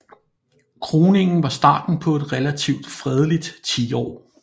Kroningen var starten på et relativt fredeligt tiår